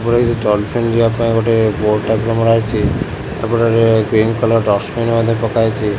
ଏପଟେ କିଛି ଡଲଫିନ ଯିବା ପାଇଁ ଗୋଟେ ବୋର୍ଡ ଟାଇପର ମରା ହେଇଛି ଏପଟେ ଗ୍ରୀନ କଲର୍ ଡଷ୍ଟବିନ ମଧ୍ୟ ରଖାଯାଇଛି ।